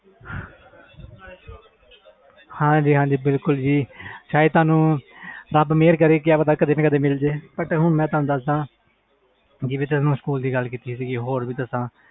ਹਾਜੀ ਹਾਜੀ ਬਿਲਕੁਲ ਜੀ ਰਬ ਮੇਹਰ ਕਰੇ ਕਦੇ ਨਾ ਕਦੇ ਮਿਲ ਜੇ ਮੈਂ ਤੁਹਾਨੂੰ ਦਸ ਦਾ ਜਿਵੇ ਤੁਸੀ ਸਕੂਲ ਦੀ ਗੱਲ ਕੀਤੀ ਸੀ